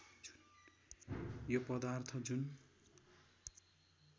यो पदार्थ जुन